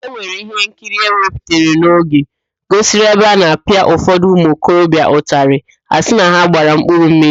Ewere ihe nkiri ewepụtara n'oge n'adịghị gosiri ebe a na-apịa ụfọdụ ụmụ okorobịa ụtalị asị na ha gbara 'mkpụrụmmiri'